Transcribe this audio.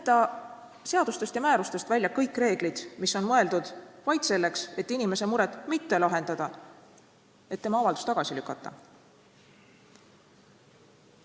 Jätta seadustest ja määrustest välja kõik reeglid, mis on mõeldud vaid selleks, et inimese muret mitte lahendada, vaid tema avaldus tagasi lükata.